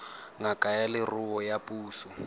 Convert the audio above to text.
ngaka ya leruo ya puso